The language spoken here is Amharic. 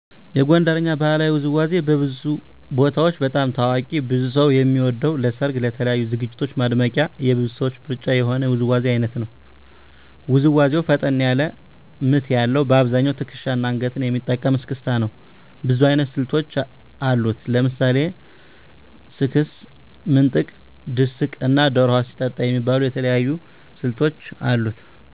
የጎንደርኛ ባህላዊ ውዝዋዜ በብዙ ቦታዎች በጣም ታዋቂ ብዙ ሰው የሚወደው ለሰርግ እና ለተለያዩ ዝግጅቶች ማድመቂያ የብዙ ሰዎች ምርጫ የሆነ የውዝዋዜ አይነት ነው። ውዝዋዜው ፈጠን ያለ ምት ያለዉ : በአብዛኛው ትክሻና አንገትን የሚጠቀም እስክስታ ነው። ብዙ አይነት ስልቶች አሉት። ለምሳሌ ስክስክ፣ ምንጥቅ፣ ድስቅ እና ዶሮ ውሃ ስትጠጣ የሚባሉ የተለያዩ ስልቶች አሉት።